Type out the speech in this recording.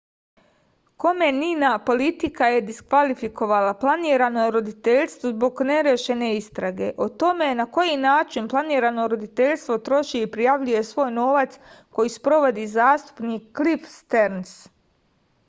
komenina politika je diskvalifikovala planirano roditeljstvo zbog nerešene istrage o tome na koji način planirano roditeljstvo troši i prijavljuje svoj novac koju sprovodi zastupnik klif sterns